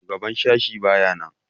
Shugaban sashi baya nan.